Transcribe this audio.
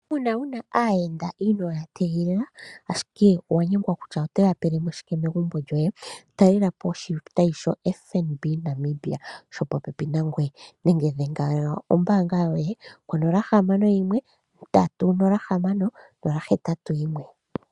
Uuna wuna aayenda inooya ya igilila ashike owanyengwa kutya otoya pelemo shike megumbo lyoye, talelapo oshitayi shoFNB. Namibia shopopepi nangweye nenge dhenga konomola yombaanga yoye ngaashi tayi landula onola ohamano oyimwe ondatu onola nohamano yimwe onola oheyatu noyimwe.